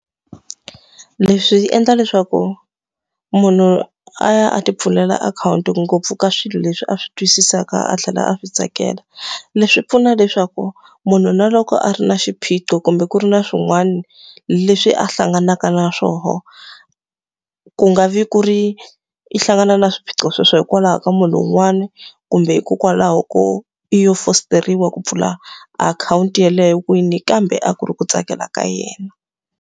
Leswi endla leswaku munhu a ya a ti pfulela akhawunti ngopfu ka swilo leswi a swi twisisaka a tlhela a swi tsakela. Leswi pfuna leswaku munhu na loko a ri na xiphiqo kumbe ku ri na swin'wana leswi a hlanganaka na swona, ku nga vi ku ri i hlangana na swiphiqo sweswo hikwalaho ka munhu un'wana, kumbe hikokwalaho ko i lo fosteriwa ku pfula akhawunti yeleyo kwini, kambe a ku ri ku tsakela ka yena.